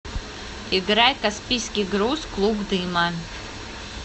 играй каспийский груз клуб дыма